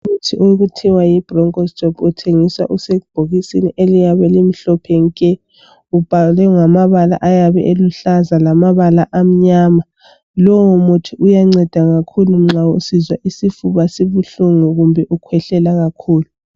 Umuthi okuthiwa yibroncho stop uthengiswa usebhokisini eliyabe limhlophe nke ubhalwe ngamabala uyabe eluhlaza lamabala ayabe emnyama lowu mithi uyangceda kakhulu nxa usizwa isifuba sibuhlungu kumbe nxa ukhwehlela kakhulu